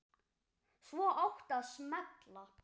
Svo átti að smella.